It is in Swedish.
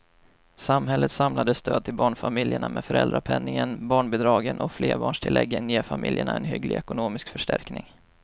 Samhällets samlade stöd till barnfamiljerna med föräldrapenningen, barnbidragen och flerbarnstilläggen ger familjerna en hygglig ekonomisk förstärkning.